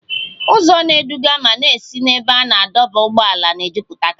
Ụzọ na-eduga ma na-esi n'ebe a na-adọba ụgbọala na-ejụpụtakari